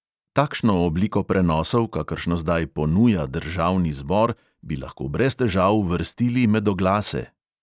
Takšno obliko prenosov, kakršno zdaj "ponuja" državni zbor, bi lahko brez težav uvrstili med oglase.